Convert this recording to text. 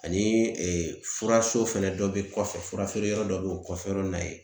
Ani furaso fɛnɛ dɔ be kɔfɛ ,fura feereyɔrɔ dɔ be o kɔfɛ yɔrɔ in na yen.